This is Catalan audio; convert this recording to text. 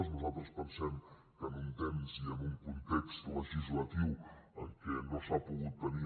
nosaltres pensem que en un temps i en un context legislatiu en què no s’ha pogut tenir